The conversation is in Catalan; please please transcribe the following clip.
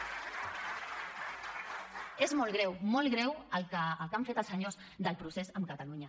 és molt greu molt greu el que han fet els senyors del procés amb catalunya